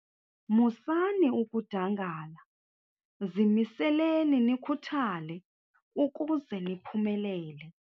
Musani ukudangala, zimiseleni nikhuthale ukuze niphumelele.